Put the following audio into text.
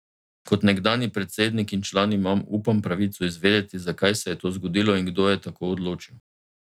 Kot nekdanji predsednik in član imam, upam, pravico izvedeti, zakaj se je to zgodilo in kdo je tako odločil.